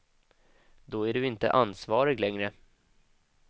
Då är du inte ansvarig längre.